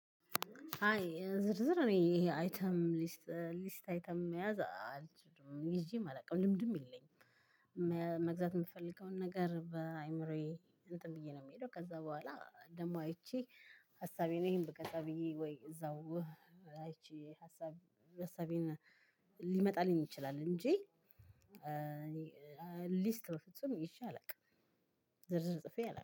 ሃይ ዝርዝር እኔ ይሄ አይተም ሊስት ሊስት አይተም መያዝ አልችልም ይዤም አላውቅም ልምድም የለኝም መግዛት ምፈልገውን ነገር በአእምሮዬ እንትን ብዬ ነው ምሄደው ከዛ በኋላ ደግሞ አይቼ ሀሳቤን ይሄን ብገዛ ብዬ ወይ እዛው አይቼ ሀሳቤን ሀሳቤን ሊመጣልኝ ይችላል እንጂ እኔ ሊስት በፍጹም ይዤ አላውቅም። ዝርዝር ጽፌ አላቅም።